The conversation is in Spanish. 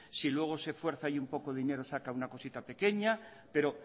si luego se fuerza un poco dinero saca una cosita pequeña pero